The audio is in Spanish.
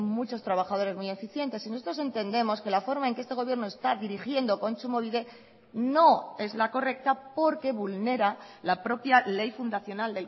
muchos trabajadores muy eficientes y nosotros entendemos que la forma en que este gobierno está dirigiendo kontsumobide no es la correcta porque vulnera la propia ley fundacional